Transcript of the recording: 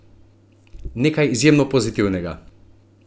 Nekaj izjemno pozitivnega!